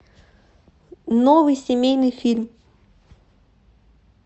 новый семейный фильм